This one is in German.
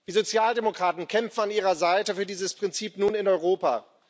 Die Sozialdemokraten kämpfen an Ihrer Seite für dieses Prinzip nun in Europa.